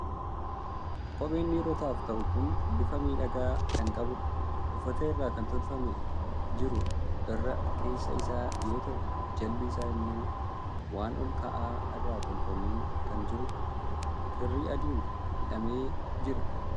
Kopheen dhiirotaaf ta'u kun bifa miidhagaa kan qabudha. Uffata irraa kan tolfamee jiru irra keessa isaa yoo ta'u, jalli isaa immoo waan ol ka'aa irraa tolfamee kan jirudha. Kirrii adiin hidhamee jira.